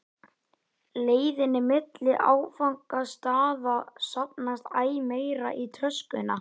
leiðinni milli áfangastaða safnast æ meira í töskuna.